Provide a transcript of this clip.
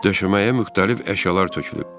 Döşəməyə müxtəlif əşyalar tökülüb.